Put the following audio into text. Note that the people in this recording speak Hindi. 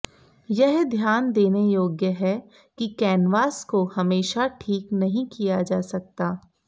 यह ध्यान देने योग्य है कि कैनवास को हमेशा ठीक नहीं किया जा सकता